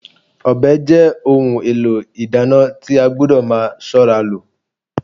Ọbẹ̀ jẹ́ ohun èlò ìdáná tí a gbọdọ̀ máa ṣọ́ra lò